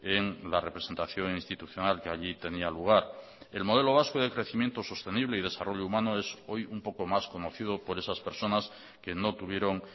en la representación institucional que allí tenía lugar el modelo vasco de crecimiento sostenible y desarrollo humano es hoy un poco más conocido por esas personas que no tuvieron